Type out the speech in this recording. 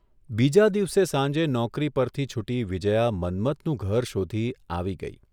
બીજા દિવસે સાંજે નોકરી પરથી છૂટી વિજયા મન્મથનું ઘર શોધી આવી ગઇ.